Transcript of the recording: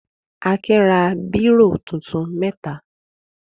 Akin ra bírò tuntun mẹ́ta.